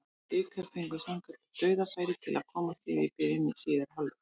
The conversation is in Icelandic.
Blikar fengu sannkallað dauðafæri til að komast yfir í byrjun síðari hálfleiks.